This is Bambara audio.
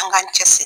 An k'an cɛ siri